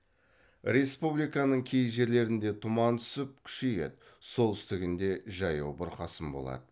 республиканың кей жерлерінде тұман түсіп күшейеді солтүстігінде жаяу бұрқасын болады